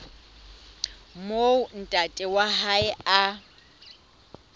moo ntate wa hae a